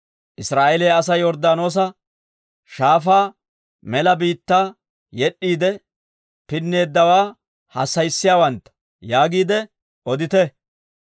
‹Israa'eeliyaa Asay Yorddaanoosa Shaafaa mela biittaa yed'd'iide pinneeddawaa hassayissiyaawantta› yaagiide odite.